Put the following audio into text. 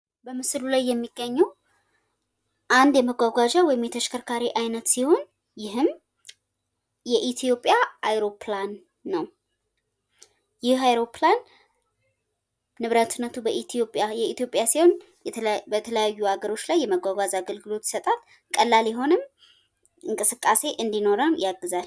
በምስሉ ላይ የሚገኘው አንድ የመጓጓዣ ወይም የተሽከርካሪ አይነት ሲሆን ይህም የኢትዮጵያ አውሮፕላን ነው። ይህ አውሮፕላን ንብረትነቱ የኢትዮጵያ ሲሆን በተለያዩ አገርች ላይ የመጓጓዝ አገልግሎት ይሰጣል። ቀላል የሆነም እንቅስቃሴ እንዲኖረን ያግዛል።